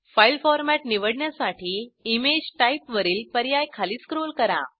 file format निवडण्यासाठी image type वरील पर्याय खाली स्क्रोल करा